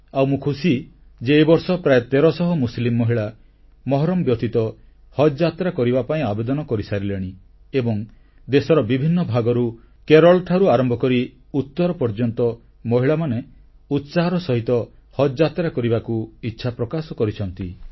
ଆଉ ମୁଁ ଖୁସି ଯେ ଏ ବର୍ଷ ପ୍ରାୟ ତେରଶହ ମୁସଲିମ୍ ମହିଳା ମହରମ୍ ବ୍ୟତୀତ ହଜଯାତ୍ରା କରିବା ପାଇଁ ଆବେଦନ କରିସାରିଲେଣି ଏବଂ ଦେଶର ବିଭିନ୍ନ ଭାଗରୁ କେରଳଠାରୁ ଆରମ୍ଭ କରି ଉତ୍ତର ଭାରତ ପର୍ଯ୍ୟନ୍ତ ମହିଳାମାନେ ଉତ୍ସାହର ସହିତ ହଜଯାତ୍ରା କରିବାକୁ ଇଚ୍ଛାପ୍ରକାଶ କରିଛନ୍ତି